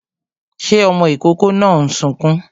Ṣé ọmọ ìkókó náà ń sunkún?